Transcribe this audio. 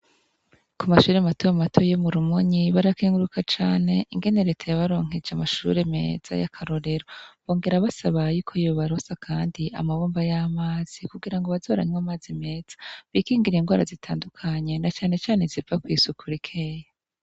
Kumashure mato mato yo mu Rumonyi barakenguruka cane ingene reta yabaronkeje amashure meza yakarorero bongera basaba yuko yobaronsa kandi amabomba yamazi kugirango baze baranywa amazi meza bikingire ingwara zitandukanye na cane cane iziva kwisuku rikeya.